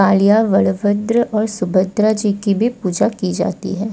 कालिया वड़भद्र और सुभद्रा जी की भी पूजा की जाती है।